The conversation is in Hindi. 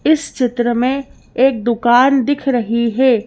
इस चित्र में एक दुकान दिख रही है।